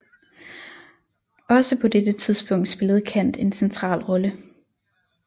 Også på dette punkt spillede Kant en central rolle